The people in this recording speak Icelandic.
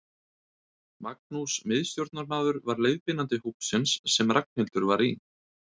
Magnús miðstjórnarmaður var leiðbeinandi hópsins sem Ragnhildur var í.